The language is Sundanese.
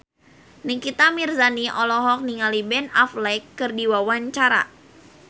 Nikita Mirzani olohok ningali Ben Affleck keur diwawancara